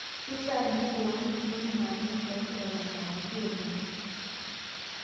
Keishaa neiboori nkukuni naanya enchani Eton aakiti oleng.